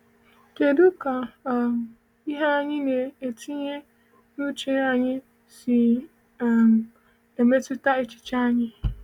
Kedụ ka um ihe anyị na-etinye n’uche anyị si um emetụta echiche anyị?